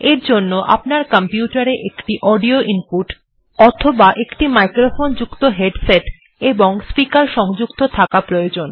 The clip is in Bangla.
এর জন্য আপনার কম্পিউটার এ একটি অডিও ইনপুট অথবা একটি মাইক্রোফোন যুক্ত হেডসেট এবং স্পিকার সংযুক্ত থাকা প্রয়োজন